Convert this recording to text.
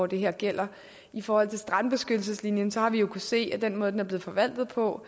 det her gælder i forhold til strandbeskyttelseslinjen har vi jo kunnet se af den måde den er blevet forvaltet på